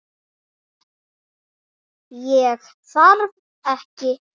Ég þarf ekki neitt.